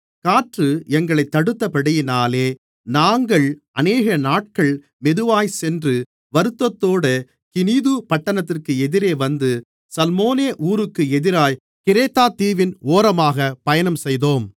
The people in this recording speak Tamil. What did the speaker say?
காற்று எங்களைத் தடுத்தபடியினாலே நாங்கள் அநேகநாட்கள் மெதுவாய்ச் சென்று வருத்தத்தோடு கினீது பட்டணத்திற்கு எதிரே வந்து சல்மோனே ஊருக்கு எதிராய்க் கிரேத்தாதீவின் ஓரமாகப் பயணம் செய்தோம்